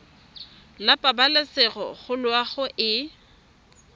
la pabalesego le loago e